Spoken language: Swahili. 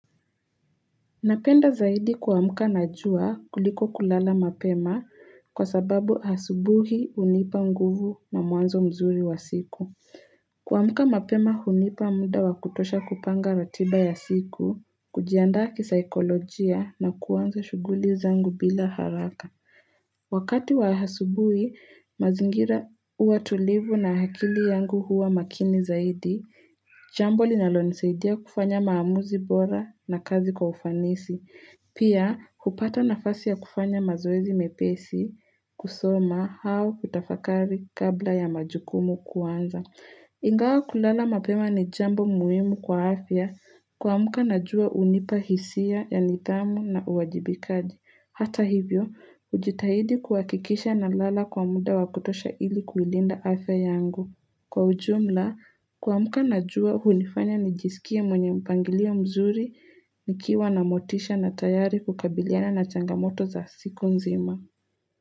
Napenda zaidi kuamka na jua kuliko kulala mapema kwa sababu asubuhi hunipa nguvu na mwanzo mzuri wa siku. Kuamka mapema hunipa muda wa kutosha kupanga ratiba ya siku, kujianda kisaikolojia na kuanza shughuli zangu bila haraka. Wakati wa asubui, mazingira huwa tulivu na akili yangu huwa makini zaidi Jambo linalonisaidia kufanya maamuzi bora na kazi kwa ufanisi Pia, kupata nafasi ya kufanya mazoezi mepesi, kusoma au kutafakari kabla ya majukumu kuanza Ingawa kulala mapema ni jambo muhimu kwa afya kuamka najua hunipa hisia ya nidhamu na uwajibikaji Hata hivyo, hujitahidi kuhakikisha na lala kwa muda wakutosha ili kuilinda afya yangu. Kwa ujumla, kuamka najua, hunifanya nijisikia mwenye mpangilio mzuri, nikiwa na motisha na tayari kukabiliana na changamoto za siku nzima.